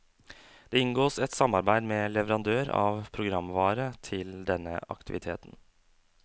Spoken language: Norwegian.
Det inngås et samarbeid med leverandør av programvare til denne aktiviteten.